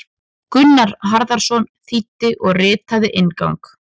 Gunnar Harðarson þýddi og ritaði inngang.